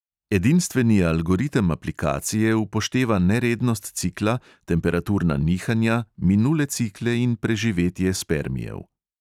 Edinstveni algoritem aplikacije upošteva nerednost cikla, temperaturna nihanja, minule cikle in preživetje spermijev.